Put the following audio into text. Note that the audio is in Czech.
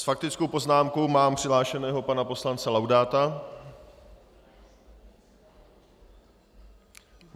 S faktickou poznámkou mám přihlášeného pana poslance Laudáta.